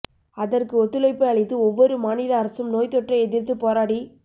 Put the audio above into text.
அதற்கு ஒத்துழைப்பு அளித்து ஒவ்வொரு மாநில அரசும் நோய் தொற்றை எதிர்த்து போராடி